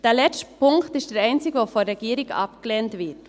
Der letzte Punkt ist der einzige, der von der Regierung abgelehnt wird.